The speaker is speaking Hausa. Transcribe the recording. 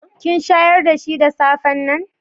Kin shayar da shi da safen nan?